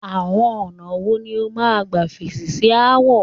Àọn ọ̀nà wo ni o máa ń gbà fèsì sí aáwọ̀?